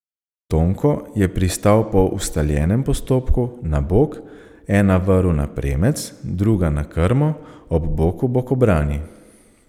Tonko je pristal po ustaljenem postopku, na bok, ena vrv na premec, druga na krmo, ob boku bokobrani.